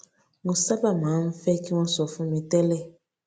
mo sábà máa ń fé kí wón sọ fún mi tẹlẹ